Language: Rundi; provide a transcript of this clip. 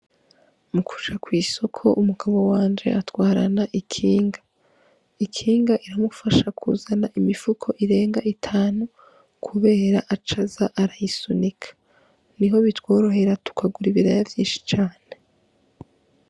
Mukuja kw' isoko umugabo wanje atwarana ikinga, ikinga riramufasha kuzana imifuko irenga itanu kubera aca aza arayisubinika niho bitworehera tukagura ibiraya vyinshi cane.